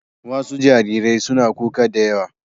Wasu jariran suna kuka da yawa.